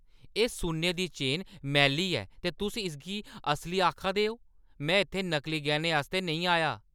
एह्‌ सुन्ने दी चेन मैली ऐ ते तुस इसगी असली आखा दे ओ? में इत्थै नकली गैह्‌नें आस्तै नेईं आया!